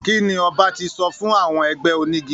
Kí ni ọba ti sọ fún àwọn ẹgbẹ́ onígi?